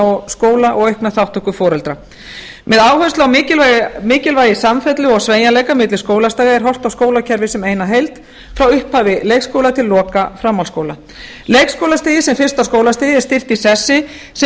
og skóla og aukna þátttöku foreldra með áherslu á mikilvægi samfellds og sveigjanleika milli skólastiga er horft á skólakerfið sem eina heild frá upphafi leikskóla til loka framhaldsskóla leikskólastigið sem fyrsta skólastigið er styrkt í sessi sem